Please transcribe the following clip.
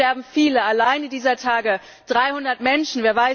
Und es sterben viele allein dieser Tage 300 Menschen.